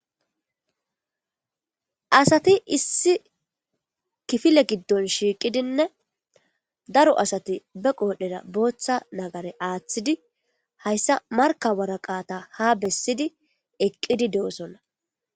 Asati issi kiffile giddon shiqqidinne daro asati be qodaredda botta naggare aththidi hayissa marikka woraqqaththa ha bessidi eqqidi de'osona.